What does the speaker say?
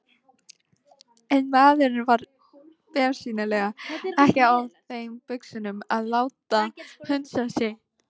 En maðurinn var bersýnilega ekki á þeim buxunum að láta hunsa sig.